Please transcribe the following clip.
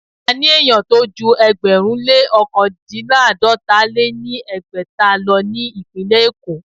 A ní àwon ènìyàn tó jú ẹgbẹ̀rún lé ọ̀kandínláàdọ́ta lé ní ẹgbẹ́ta lọ ní ìpínlẹ̀ Èkó.